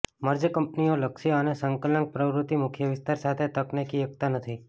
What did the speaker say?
merge કંપનીઓ લક્ષ્ય અને સંકલક પ્રવૃત્તિ મુખ્ય વિસ્તાર સાથે તકનિકી એકતા નથી